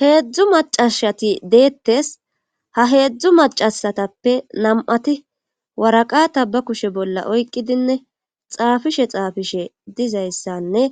Heedzdzu macashati deettes ha heedzdzu macasatappe nam'ati waraqata ba kushe bolla oyqqidinne xaafishe xaafishe dizayssanne